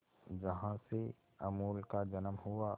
जहां से अमूल का जन्म हुआ